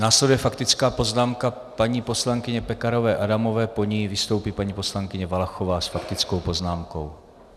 Následuje faktická poznámka paní poslankyně Pekarové Adamové, po ní vystoupí paní poslankyně Valachová s faktickou poznámkou.